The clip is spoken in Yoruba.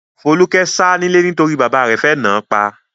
Folúkẹ́ sá nílé nítorí bàbá rẹ̀ fẹ́ náà pa.